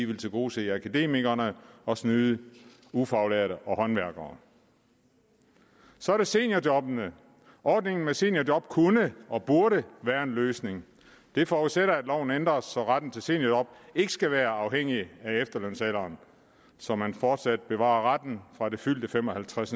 vil tilgodese akademikere og snyde ufaglærte og håndværkere så er der seniorjobbene ordningen med seniorjob kunne og burde være en løsning det forudsætter at loven ændres så retten til seniorjob ikke skal være afhængig af efterlønsalderen så man fortsat bevarer retten fra det fyldte fem og halvtreds